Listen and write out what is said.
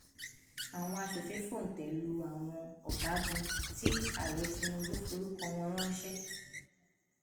àwọn aṣòfin fòńté lu àwọn ọgágun tí ààrẹ tinubu forúkọ wọn ránṣẹ